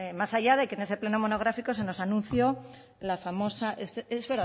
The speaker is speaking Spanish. más allá de que en ese pleno monográfico se nos anunció la famosa es